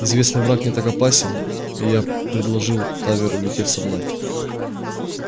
известный враг не так опасен и я предложил таверу лететь со мной